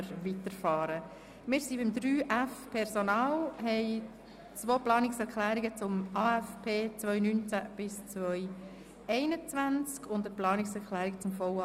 Wir sind beim Themenblock 3.f Personal angelangt und haben dazu zwei Planungserklärungen zum AFP 2019– 2021 und eine Planungserklärung zum VA 2018.